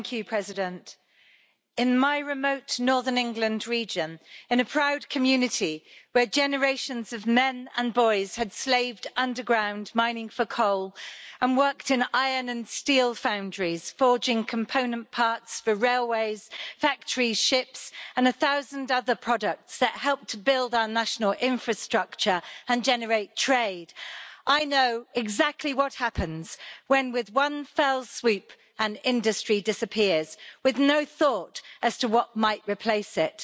President, in my remote northern England region, in a proud community, generations of men and boys slaved underground, mining for coal, and worked in iron and steel foundries, forging component parts for railways, factory ships and a thousand other products that helped to build our national infrastructure and generate trade, so I know exactly what happens when, with one fell swoop, an industry disappears, with no thought as to what might replace it.